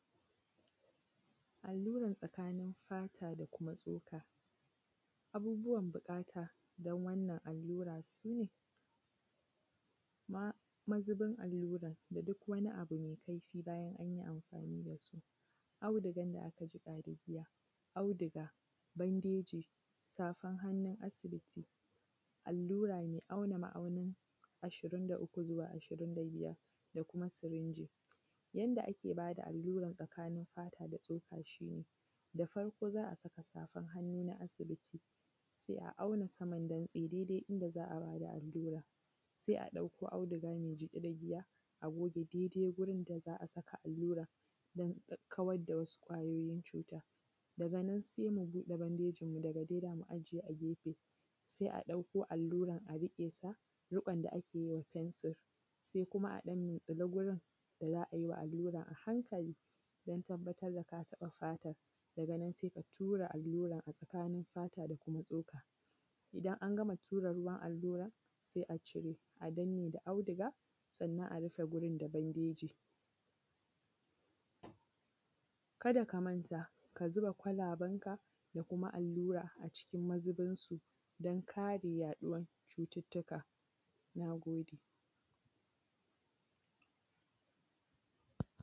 alluran tsakanin fata da kuma tsoka abubuwan buƙata don wannan alluran su ne mazubin allura da duk wani abu mai kaifi bayan an yi amfani da su audigan da aka jiƙa da giya audiga bandeji safar hannun asibiti allura mai auna ma’aunin ashirin da uku zuwa ashirin da biyar da kuma sirinji yadda ake ba da alluran tsakanin fata da tsoka shine da farko za a saka safar hannu na asibiti sai a auna saman dai dai yanda za a ba da alluran sai a ɓallo auduga mai jiƙe da ruwa a goge dai dai wurin da za a saka alluran don kawar da wasu ƙwayoyin cuta daga nan sai mu buɗe bandejin mu daga nan za mu aje a gefe sai a ɗakko alluran a riƙe sa riƙon da a ke yi wa fensir sai kuma a ɗan mintsili gurin da za a yi wa alluran a hankali don tabbatar da ka taɓa fatar daga nan sai ka tura alluran a tsakanin fata da kuma tsoka idan an gama tura ruwan alluran sai a cire a danne da audiga sannan a rufe wurin da bandeji kada ka manta ka zuba kwalaben ka da kuma allura a cikin mazubinsu don kare yaɗuwar cututtuka na gode